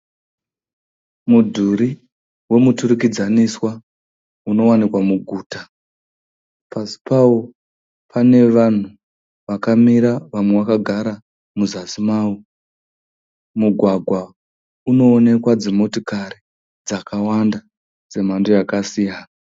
mudhuri wemuturikaniswa unowanekwa muguta .pasipawo panevhanu vakamira vamwe vakagara muzasi mawo, mugwagwa unowenekwa dzimotekare dzakawanda dzemando yakasiyana